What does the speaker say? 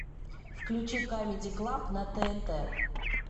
включи камеди клаб на тнт